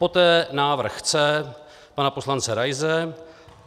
Poté návrh C pana poslance Raise.